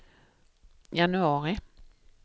januari